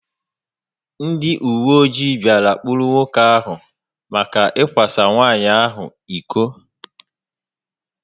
Ndị uwe ojii bia kpụrụ nwoke áhù maka ikwa sa nwanyị ahụ ịkọ